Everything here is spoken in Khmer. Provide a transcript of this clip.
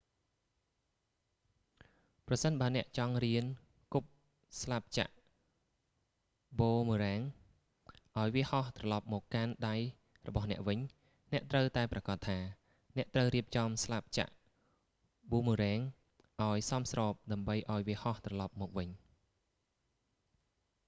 ប្រសិនបើអ្នកចង់រៀនគប់ស្លាបចក្រប៊ូមើរ៉ាំង boomerang ឱ្យវាហោះត្រលប់មកកាន់ដៃរបស់អ្នកវិញ អ្នកត្រូវតែប្រាកដថា អ្នកត្រូវរៀបចំស្លាបចក្រប៊ូមើរ៉ាំងឲ្យសមស្រប ដើម្បីឱ្យវាហោះត្រលប់មកវិញ